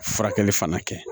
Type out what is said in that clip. Furakɛli fana kɛ